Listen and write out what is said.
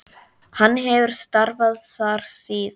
Hann hefur starfað þar síðan.